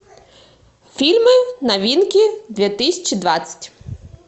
фильмы новинки две тысячи двадцать